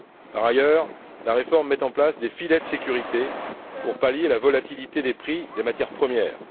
Par ailleurs, la réforme met en place des filets de sécurité pour palier la volatilité des prix des matières premières.